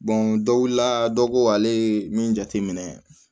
dɔ wulila dɔ ko ale ye min jate minɛ